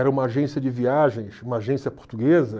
Era uma agência de viagens, uma agência portuguesa.